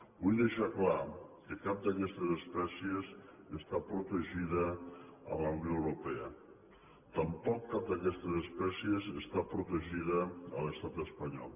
vull deixar clar que cap d’aquestes espècies està protegida a la unió europea tampoc cap d’aquestes espècies està protegida a l’estat espanyol